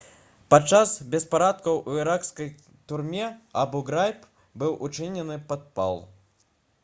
падчас беспарадкаў у іракскай турме абу-грайб быў учынены падпал